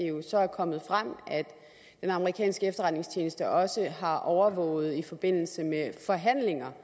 jo så er kommet frem at den amerikanske efterretningstjeneste også har overvåget i forbindelse med forhandlinger